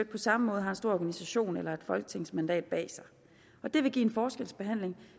på samme måde har en stor organisation eller et folketingsmandat bag sig og det vil give en forskelsbehandling